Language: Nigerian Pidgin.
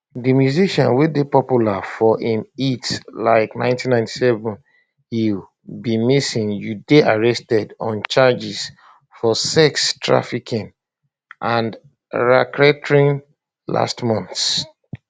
di musician wey dey popular for im hits like 1997 ill be missing you dey arrested on charges of sex trafficking and racketeering last month